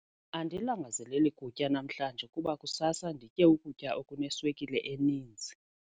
Andilangazaleli kutya namhlanje kuba kusasa nditye ukutya okuneswekile eninzi.